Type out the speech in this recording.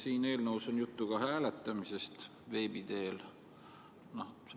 Siin eelnõus on juttu ka hääletamisest veebi teel.